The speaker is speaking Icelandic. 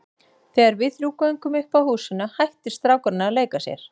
Þegar við þrjú göngum upp að húsinu hættir strákurinn að leika sér.